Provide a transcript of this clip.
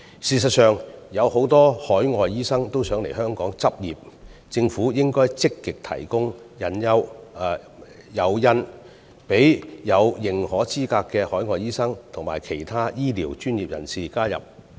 事實上，有很多海外醫生都想來香港執業，政府應該積極提供誘因，讓具認可資格的海外醫生及其他醫療專業人士來港執業。